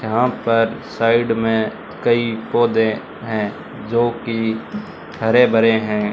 यहां पर साइड में कई पौधे है जो की हरे भरे है।